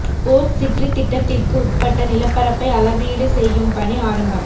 boat city திட்டத்திற்கு உட்பட்ட நிலப்பரப்பை அளவீடு செய்யும் பணி ஆரம்பம்